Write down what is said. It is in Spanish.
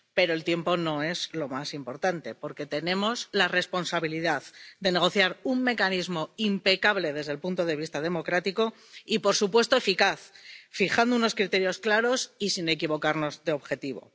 Pero el tiempo no es lo más importante, porque tenemos la responsabilidad de negociar un mecanismo impecable desde el punto de vista democrático y, por supuesto, eficaz, fijando unos criterios claros y sin equivocarnos de objetivo.